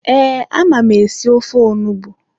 Ee, ama m esi ofe onugbu